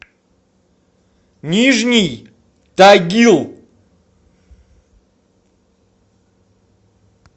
нижний тагил